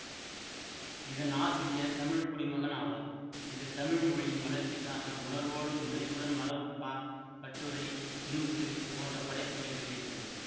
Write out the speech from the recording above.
இதன் ஆசிரியர் தமிழ்க்குடிமகன் ஆவார் இது தமிழ் மொழியின் வளர்ச்சிக்காக உணர்வோடு முனைப்புடன் மரபுப்பா கட்டுரை துணுக்கு போன்ற படைப்புக்களை வெளியிட்டது